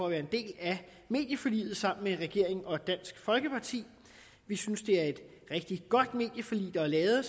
at være en del af medieforliget sammen med regeringen og dansk folkeparti vi synes det er et rigtig godt medieforlig der er lavet